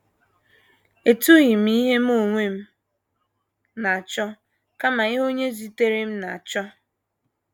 Etughị m ihe Mụ onwe m na - achọ, kama ihe Onye zitere m na - achọ. ”